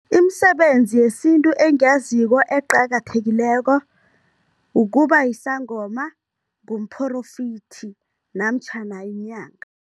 Imisebenzi yesintu engiyaziko eqakathekileko, ukuba yisangoma, ngumphorofithi namtjhana yinyanga.